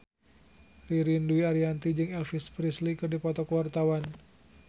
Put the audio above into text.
Ririn Dwi Ariyanti jeung Elvis Presley keur dipoto ku wartawan